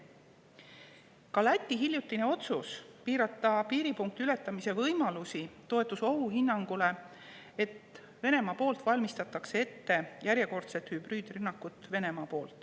Ka Läti hiljutine otsus piirata piiripunkti ületamise võimalusi toetus ohuhinnangule, et Venemaal valmistatakse ette järjekordset hübriidrünnakut.